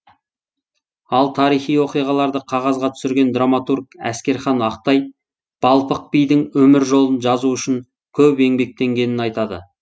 ал тарихи оқиғаларды қағазға түсірген драматург әскерхан ақтай балпық бидің өмір жолын жазу үшін көп еңбектенгенін айтады